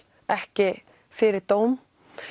ekki fyrir dóm